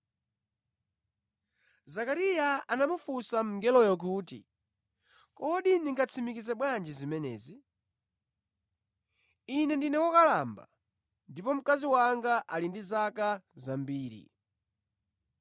Zakariya anamufunsa mngeloyo kuti, “Kodi ndingatsimikize bwanji zimenezi? Ine ndine wokalamba ndipo mkazi wanga ali ndi zaka zambiri.”